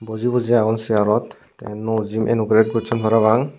buji buji agon searot te nuo jigun anograte gosson parapang.